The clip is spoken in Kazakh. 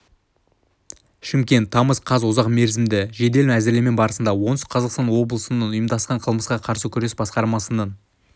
шымкент тамыз қаз ұзақ мерзімді жедел әзірлеме барысында оңтүстік қазақстан облысының ұйымдасқан қылмысқа қарсы күрес басқармасының